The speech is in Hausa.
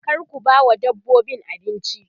kar ku bawa dabbobin abinci